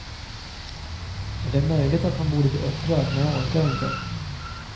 Och det är möjligt att man borde bli upprörd men jag orkar inte.